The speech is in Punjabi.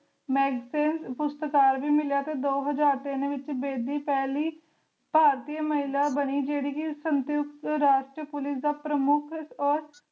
ਮੈਗਸੇਸੇ ਪੁਰਸਕਾਰ ਵੀ ਮਿਲਿਆ ਤੇ ਦੋ ਹਜ਼ਾਰ ਤਿੰਨ ਵਿਚ ਬੇਦੀ ਪਹਿਲੀ ਭਾਰਤੀ ਮਹਿਲਾ ਬਣੀ ਜਿਹੜੀ ਕਿ ਸੰਯੁਕਤ ਰਾਸ਼ਟਰ Police ਦਾ ਪ੍ਰਮੁੱਖ